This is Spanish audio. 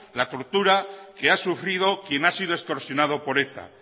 la tortura que ha sufrido quien ha sido extorsionado por eta